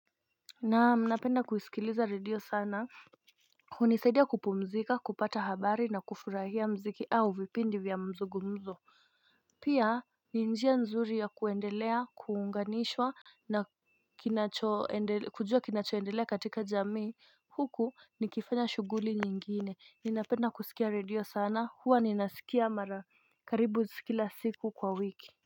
Naam napenda kusikiliza radio sana hunisaidia kupumzika kupata habari na kufurahia mziki au vipindi vya mzugumzo Pia ni njia nzuri ya kuendelea kuunganishwa na kujua kinachoendelea katika jamii Huku nikifanya shuguli nyingine ninapenda kusikia radio sana huwa ninasikia mara karibu zikila siku kwa wiki.